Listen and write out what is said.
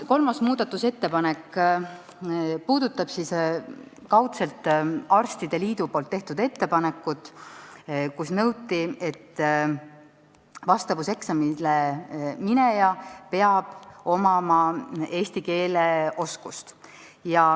Kolmas muudatusettepanek puudutab kaudselt arstide liidu ettepanekut, kus nõuti, et vastavuseksamile minejal peab olema eesti keele oskus.